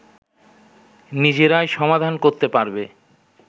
নিজেরাই সমাধান করেতে পারবে